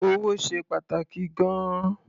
Owó ṣe pàtàkì gan-an.